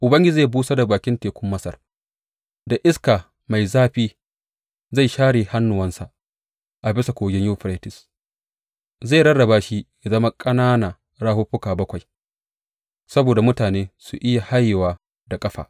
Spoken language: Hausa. Ubangiji zai busar da bakin tekun Masar; da iska mai zafi zai share hannunsa a bisa Kogin Yuferites Zai rarraba shi yă zama ƙanana rafuffuka bakwai saboda mutane su iya hayewa da ƙafa.